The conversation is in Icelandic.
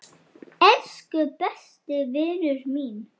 Elsku besti vinur minn.